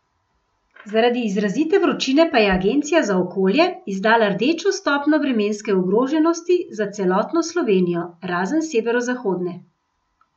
Zaradi izrazite vročine pa je agencija za okolje izdala rdečo stopnjo vremenske ogroženosti za celotno Slovenijo, razen severozahodne.